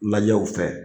Lajɛ u fɛ